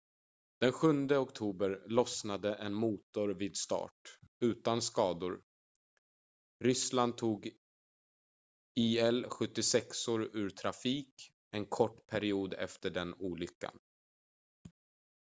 den 7 oktober lossnade en motor vid start utan skador. ryssland tog il-76:or ur trafik en kort period efter den olyckan